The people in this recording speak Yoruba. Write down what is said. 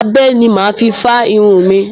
Abẹ ni mà á fi fá irun mi.